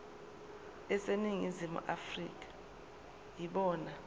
aseningizimu afrika yibona